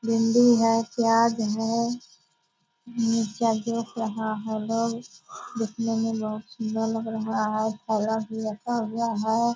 भिंडी है प्याज है मिरचयियो रहा है लोग देखने में बहुत सुंदर लग रहा है भी रखा हुआ है ।